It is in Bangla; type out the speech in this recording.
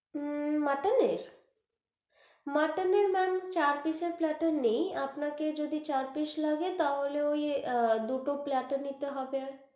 হম মটন এর মটন এর ma'am চার piece র platter নেই আপনাকে যদি চার piece লাগে তাহলে ওই আহ দুটো platter নিতে হবে,